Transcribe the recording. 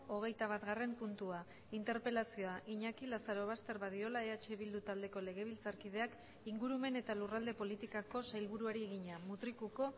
hogeitabatgarren puntua interpelazioa iñaki lazarobaster badiola eh bildu taldeko legebiltzarkideak ingurumen eta lurralde politikako sailburuari egina mutrikuko